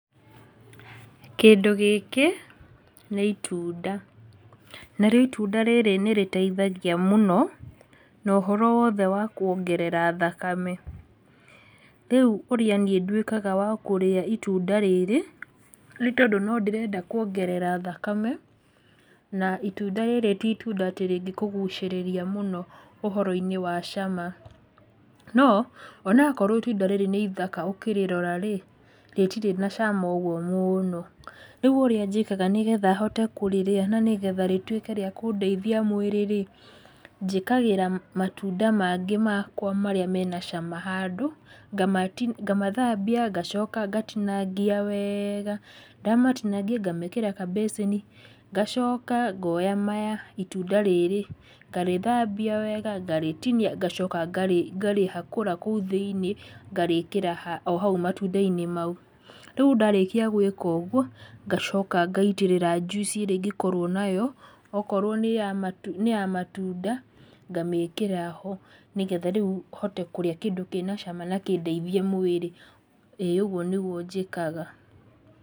Kĩndũ gĩkĩ nĩ itunda, narĩo itunda rĩrĩ nĩ rĩteithagia mũno na ũhoro wothe wa kuongerera thakame. Rĩu ũrĩa niĩ nduĩkaga wa kũrĩa itunda rĩrĩ nĩ tondũ no ndĩrenda kuongerera thakame, na itunda rĩrĩ ti itunda rĩngĩkũgucĩrĩria mũno ũhoro-inĩ wa cama. No onakorwo itunda rĩrĩ nĩ ithaka ũkĩrĩrora rĩ, rĩtirĩ na cama ũguo mũno, rĩu ũrĩa njĩkaga nĩgetha hote kũrĩrĩa na nĩgetha rĩtuĩke rĩa kũndeithia mwĩrĩ rĩ, njĩkagĩra matunda mangĩ makwa marĩa mena cama handũ, ngamathambia, ngacoka ngatinangia wega, ndamatinangia ngamekĩra kabĩcĩni, ngacoka ngoya maya itunda rĩrĩ, ngarĩthambia wega, ngarĩtinia, ngacoka ngarĩ, ngarĩhakũra kũu thĩinĩ, ngarĩkĩra ohau matunda-inĩ mau, rĩu ndarĩkia gwĩka ũguo, ngacoka ngaitĩrĩra njuici ĩrĩa ingĩkorwo nayo, okorwo nĩ ya matunda, ngamĩkĩra ho nĩgetha rĩu hote kũrĩ kĩndũ kĩnacama na kĩndeithie mwĩrĩ, ĩĩ ũguo nĩguo njĩkaga.